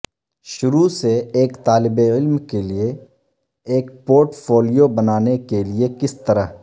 شروع سے ایک طالب علم کے لئے ایک پورٹ فولیو بنانے کے لئے کس طرح